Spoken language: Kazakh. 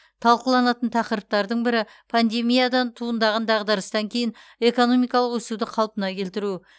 талқыланатын тақырыптардың бірі пандемиядан туындаған дағдарыстан кейін экономикалық өсуді қалпына келтіру